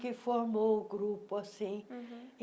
que formou o grupo assim. uhum